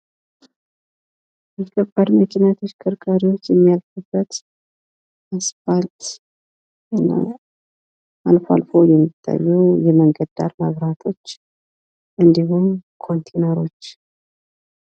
የከባድ መኪና ተሽከርካሪዎች የሚያልፉበት አስፋልት ፤ እና አልፎ አልፎ የሚታዩ የመንገድ ዳር መብራቶች ፤ እንዲሁም ኮንቲነሮች።